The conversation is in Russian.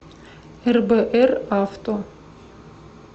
рбр авто